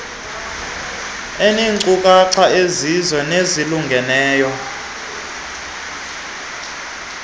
eneenkcukacha ezizizo nezilungileyo